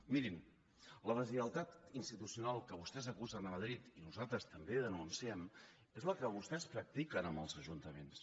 mirin la deslleialtat institucional de què vostès acusen madrid i nosaltres també denunciem és la que vostès practiquen amb els ajuntaments